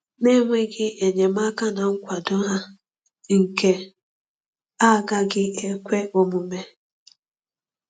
Na-enweghị enyemaka na nkwado ha, nke a agaghị ekwe omume.